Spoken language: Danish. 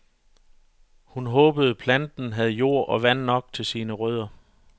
Hun håbede planten havde jord og vand nok til sine rødder.